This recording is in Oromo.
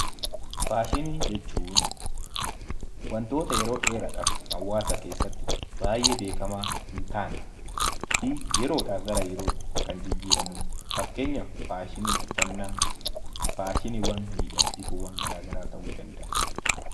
Faashinii jechuun wantoota yeroo dheeraadhaaf hawaasa keessatti baay'ee beekamaa hin taane fi yeroodhaa gara yerootti kan jijjiiramu dha. Fakkeenyaaf faashinii uffannaa, faashiniiwwan miidhagsituuwwan gara garaa ta'uu danda'a.